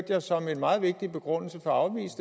jeg som en meget vigtig begrundelse for at afvise